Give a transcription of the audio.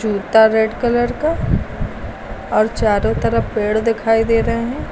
जूता red colour का और चारो तरफ पेड़ दिखाई दे रहे हैं।